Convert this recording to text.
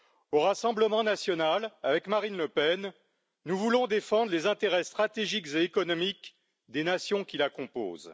Au Rassemblement national, avec Marine Le Pen, nous voulons défendre les intérêts stratégiques et économiques des nations qui la composent.